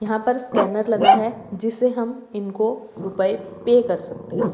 यहां पर स्कैनर लगा है जिससे हम इनको रुपए पे कर सकते हैं।